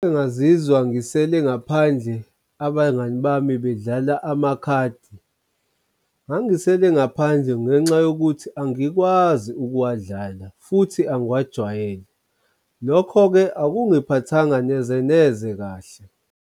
Engazizwa ngisele ngaphandle abangani bami bedlala amakhadi. Ngangisele ngaphandle ngenxa yokuthi angikwazi ukuwadlala futhi angiwajwayele. Lokho-ke akungiphathanga neze neze kahle.